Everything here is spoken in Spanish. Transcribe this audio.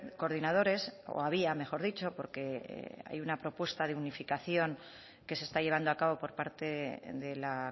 coordinadores o había mejor dicho porque hay una propuesta de unificación que se está llevando a cabo por parte de la